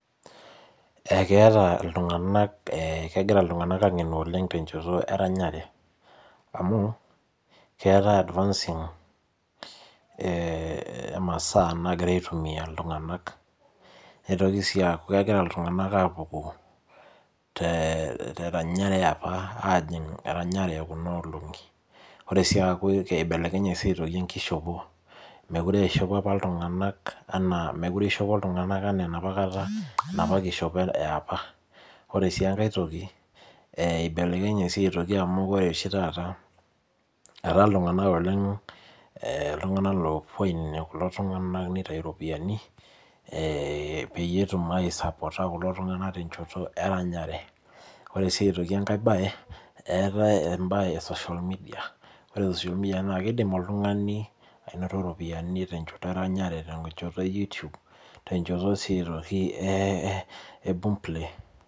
Ekitaa iltung'ana ekigira iltung'ana ang'enu oleng tenjoto eranyare amu keetae advancing ee masaa nagira aitumia iltung'ana neitoki sii aku kegira iltung'ana apukoo te ranyare ajing eranyare Kun olongi nitoki sii aku eibelekenye aitoki enkoshopo mekure eishopo iltung'ana ena enapakata enapa kishipo yaapa ore si enkae toki eibelekenye amu ore oshi taata etaa iltung'ana oleng iltung'ana opuo ainepu kulo tung'ana neitau ropiani ee peyie etum aisapotaa kulo tung'ana tenjoto eranyare ore sii enkae mbae etae mbae ee social media ore social media naa kidim oltung'ani anototo ropiani tenjoto eranyare tenjoto ee we YouTube ootenjoto sii aitoki ee boom play